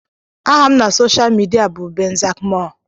Aha m na soshal midia bụ benzakmoore